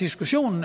diskussionen